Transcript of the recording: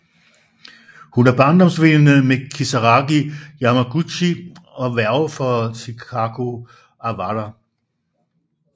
Hun er barndomsveninde med Kisaragi Yamaguchi og værge for Chikako Awara